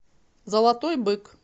золотой бык